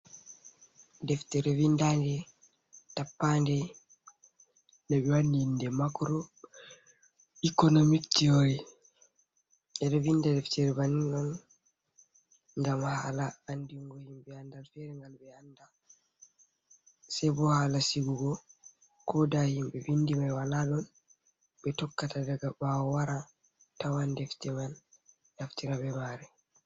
Deftere vindaande tappaande no ɓe wadi inde macro ikonomik tiyoori. Ɓe ɗo vinda deftere bannin on, gam haala andingo himɓe andal feere ngal be anda, se bo hala sigugo kooda himɓe vindi mai wala don ɓe tokkata daga baawo wara tawan defte man naftira be maare